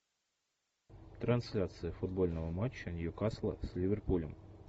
трансляция футбольного матча ньюкасла с ливерпулем